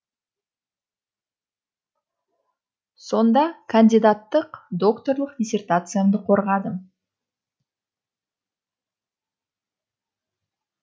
сонда кандидаттық докторлық диссертациямды қорғадым